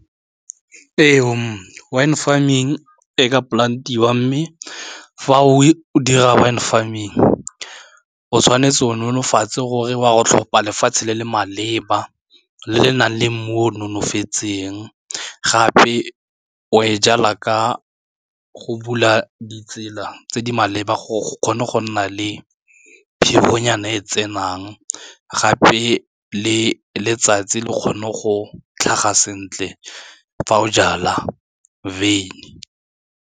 Ee, wine farming e ka polantiwa mme fa o dira wine farming o tshwanetse o nonofatsa gore wa go tlhopha lefatshe le le maleba le le nang le mo nonofetseng gape o e jalwa ka go bula ditsela tse di maleba go kgone go nna le phefonyana e e tsenang gape le letsatsi le kgone go tlhaga sentle fa o jala wine.